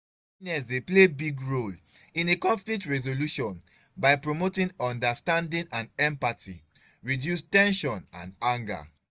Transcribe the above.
kindness dey play big role in a conflict resolution by promoting understanding and empathy reduce ten sion and anger.